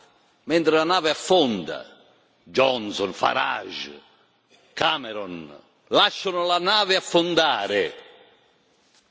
Questi se ne vanno mentre la nave affonda Johnson, Farage, Cameron lasciano la nave affondare.